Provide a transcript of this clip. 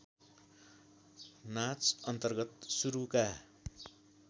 नाच अन्तर्गत सुरुका